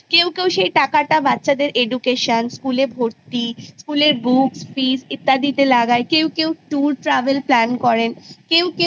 সেটা কেউ school fees books দিতে লাগায় কেউ tour travel Plan করে কেউ কেউ